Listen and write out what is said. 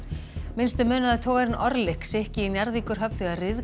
minnstu munaði að togarinn sykki í Njarðvíkurhöfn þegar